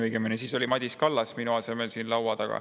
Õigemini oli siis Madis Kallas minu asemel siin.